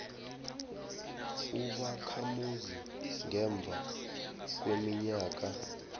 ubakhamuzi ngemva kweminyaka